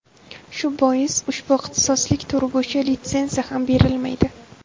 Shu bois, ushbu ixtisoslik turi bo‘yicha litsenziya ham berilmaydi.